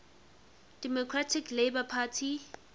democratic labour party